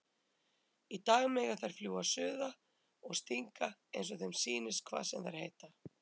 Í dag mega þær fljúga suða og stinga einsog þeim sýnist hvað sem þær heita.